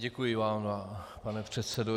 Děkuji vám, pane předsedo.